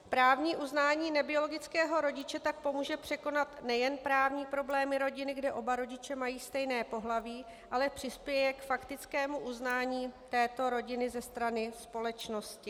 Právní uznání nebiologického rodiče tak pomůže překonat nejen právní problémy rodiny, kde oba rodiče mají stejné pohlaví, ale přispěje k faktickému uznání této rodiny ze strany společnosti.